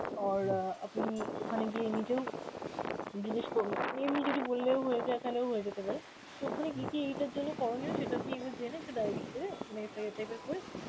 আর অ্যাঁ আপনি ওখানে গিয়ে নিজেও জিজ্ঞেস করবেন, এমনি যদি বললেও হয়ে যায় তালেও হয়ে যেতে পারে. তো ওখানে কি কি এইটার জন্য করণীয় সেটা আপনি জেনে একটা diary করে type এর করে